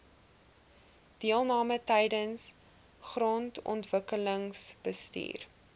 deelname tydens grondontwikkelingsbestuur